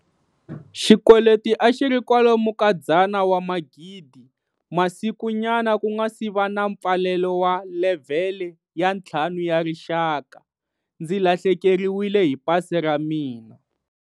Xikweleti a xi ri kwalomu ka R100 000. Masikunyana ku nga si va na mpfalelo wa levhele ya 5 ya rixaka, ndzi lahlekeriwile hi pasi ra mina.